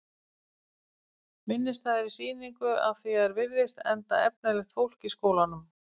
Minnisstæðri sýningu að því er virðist, enda efnilegt fólk í skólanum.